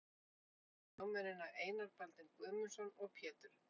Fyrsta vil ég nefna lögmennina Einar Baldvin Guðmundsson og Pétur